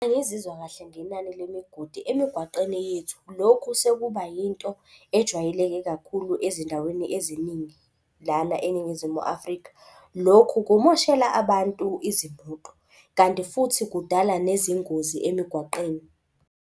Angizizwa kahle ngenani lemigodi emigwaqeni yethu. Lokhu sekuba yinto ejwayeleke kakhulu ezindaweni eziningi lana eNingizimu Afrika. Lokhu kumoshela abantu izimoto kanti futhi kudala nezingozi emigwaqeni.